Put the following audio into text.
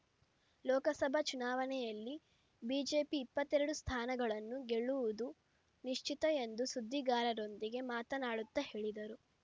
ಲೋಕಸಭಾ ಚುನಾವಣೆಯಲ್ಲಿ ಬಿಜೆಪಿ ಇಪ್ಪತ್ತೆರಡು ಸ್ಥಾನಗಳನ್ನು ಗೆಲ್ಲುವುದು ನಿಶ್ಚಿತ ಎಂದು ಸುದ್ದಿಗಾರರೊಂದಿಗೆ ಮಾತನಾಡುತ್ತಾ ಹೇಳಿದರು